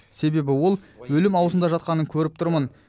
себебі ол өлім аузында жатқанын көріп тұрмын